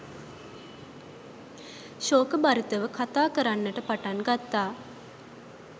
ශෝකභරිතව කථා කරන්නට පටන් ගත්තා.